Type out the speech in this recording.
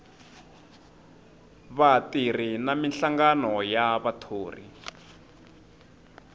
vatirhi na minhlangano ya vathori